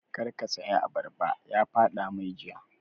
Kar ka saya abarba! ya faɗa mai jiya